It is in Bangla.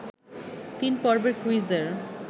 তিন পর্বের কুইজের